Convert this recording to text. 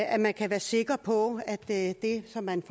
at man kan være sikker på at det som man